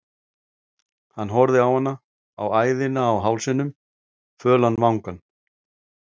Hann horfði á hana, á æðina á hálsinum, fölan vangann